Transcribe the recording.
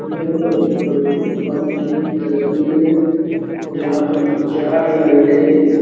यह एक petrol pump की तस्वीर है जहाँ पर चार लाइटें --